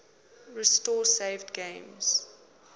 restore saved games